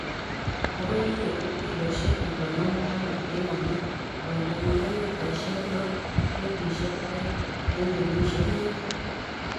Ago iye kiloisiek konom tama en kenyit. Koindanyin ko mitaisiek loo ak pointisiek oeng' en kenyisiek mut.